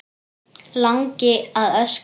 Langi að öskra.